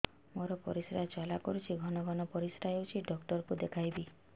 ମୋର ପରିଶ୍ରା ଜ୍ୱାଳା କରୁଛି ଘନ ଘନ ପରିଶ୍ରା ହେଉଛି ଡକ୍ଟର କୁ ଦେଖାଇବି